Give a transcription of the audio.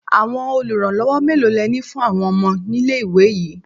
Àwọn oluranlowo mélòó le ní fún àwọn ọmọ nílé-ìwé yìí?